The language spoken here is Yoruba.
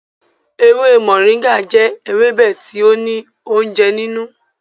Ewe moringa jẹ ewebe ti o ni ounjẹ ninu.